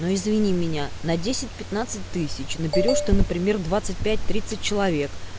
ну извини меня на десять пятнадцать тысяч наберёшь ты например двадцать пять тридцать человек